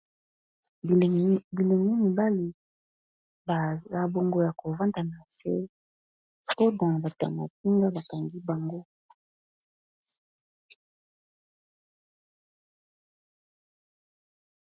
Bilenge mibale baza bongo ya kovanda na nse sikoyo batu ya mapinga bakangi bango.